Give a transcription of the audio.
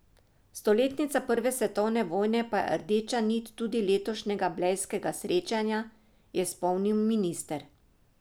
Stoletnica prve svetovne vojne pa je rdeča nit tudi letošnjega blejskega srečanja, je spomnil minister.